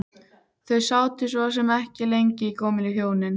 Þau sátu svo sem ekki lengi gömlu hjónin.